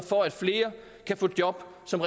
som